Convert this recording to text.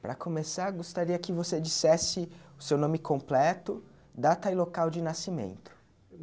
Para começar, gostaria que você dissesse o seu nome completo, data e local de nascimento.